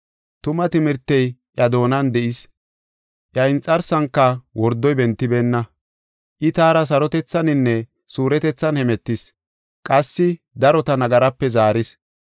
Tuma timirtey iya doonan de7is; iya inxarsanka wordoy bentibeenna. I taara sarotethaninne suuretethan hemetis; qassi darota nagarape zaaris.